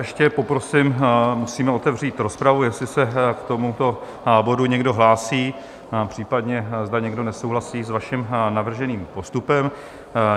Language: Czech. Ještě poprosím: musíme otevřít rozpravu, jestli se k tomuto bodu někdo hlásí, případně zda někdo nesouhlasí s vaším navrženým postupem.